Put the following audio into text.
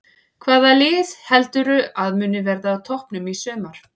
Hvaða lið heldurðu að muni verða á toppnum í sumar?